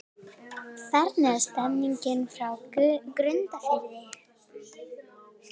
Hvernig er stemningin hjá Grundarfirði?